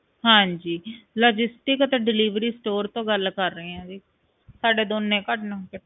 ਹਾਂਜੀ logisticanddelivery ਤੋਂ ਗੱਲ ਕਰ ਰਹੇ ਆ ਜੀ ਸਾਡੇ ਦੋਨੇ